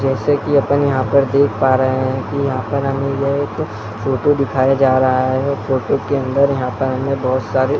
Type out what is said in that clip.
जैसे की अपन यहाँ पर देख पा रहे हैं की यहाँ पर हमें यह एक फोटो दिखाया जा रहा है फोटो के अंदर यहाँ पर हमें बहोत सारे --